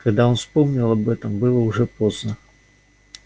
когда он вспомнил об этом было уже поздно